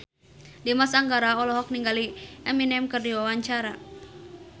Dimas Anggara olohok ningali Eminem keur diwawancara